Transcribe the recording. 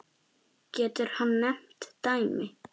Getur hann nefnt dæmi?